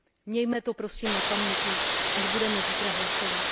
Mějme to, prosím, na paměti, až budeme zítra hlasovat.